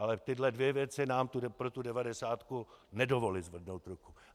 Ale tyhle dvě věci nám pro tu devadesátku nedovolily zvednout ruku.